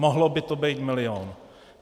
Mohl by to být milion.